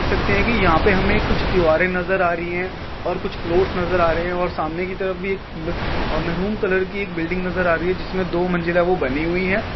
सकते है कि यहां पर हमें कुछ दीवारें नजर आ रही है। और कुछ फ्लोट्स नजर आ रहे है। और सामने की तरफ भी उम एक और मैरून कलर की एक बिल्डिंग नजर आ रही है जिसमें दो मंजिला वह बनी हुई है।